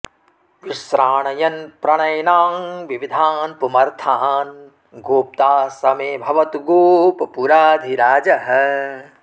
विश्राणयन् प्रणयिनां विविधान् पुमर्थान् गोप्ता स मे भवतु गोपपुराधिराजः